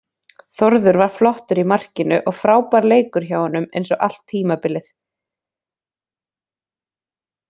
Þórður var flottur í markinu og frábær leikur hjá honum eins og allt tímabilið.